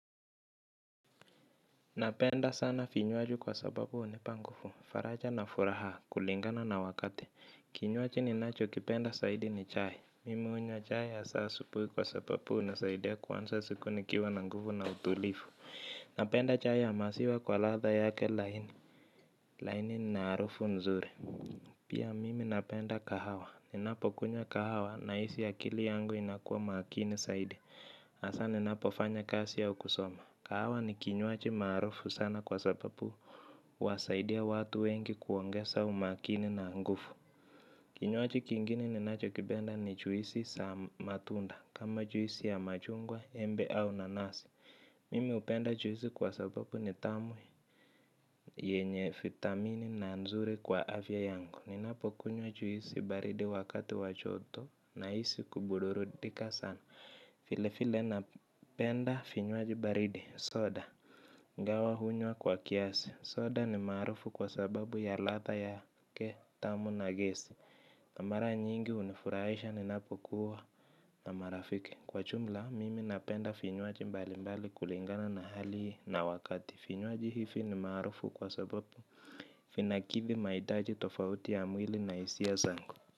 Napenda sana vinywaji kwa sababu hunipa nguvu. Faraja na furaha kulingana na wakati. Kinywaji ni nacho kipenda zaidi ni chai. Mimi hunywa chai asa asubuhi kwa sababu hunisaidia kuanza siku nikiwa na nguvu na utulivu. Napenda chai ya maziwa kwa ladha yake laini. Laini na harufu nzuri. Pia mimi napenda kahawa. Ninapo kunya kahawa na hisi akili yangu inakua makini zaidi. Hasa ninapofanya kazi au kusoma kahawa ni kinyuaji maarufu sana kwa sababu huwasaidia watu wengi kuongeza umakini na nguvu. Kinyuaji kingine ninacho kipenda ni juisi za matunda. Kama juisi ya machungwa, embe au nanasi. Mimi hupenda juisi kwa sababu ni tamu yenye vitamini na nzuri kwa afya yangu. Ninapo kunywa juisi baridi wakati wajoto na hisi kubudurudika sana. Vile vile napenda vinywaji baridi soda. Ingawa hunywa kwa kiasi. Soda ni maarufu kwa sababu ya ladha yake tamu na gesi. Na mara nyingi hunifurahisha ninapokuwa na marafiki. Kwa jumla, mimi napenda vinywaji mbali mbali kulingana na hali na wakati. Vinywaji hivi ni maarufu kwa sababu vinakivi mahitaji tofauti ya mwili na hisia zangu.